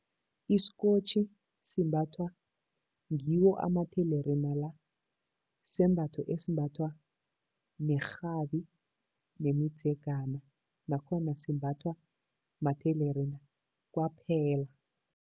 Isikotjhi simbathwa ngiwo amathelerina la. Sisembatho esimbathwa nerhabi nemidzegana, nakhona simbathwa mathelerina kwaphela.